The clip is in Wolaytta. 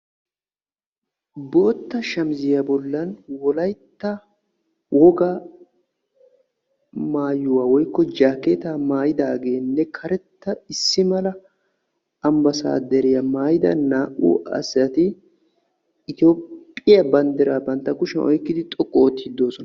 bootta shamissiya bolan wolaytta wogaa maayuwaa maayidaageenne karetta issi mala ambaasadariya maayidda naa"u asati ethoopiya bandiraa bantta kushiyan oyqqidi xoqqu ootiidid de'oosona.